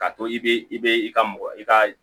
K'a to i be i be i ka mɔgɔ i ka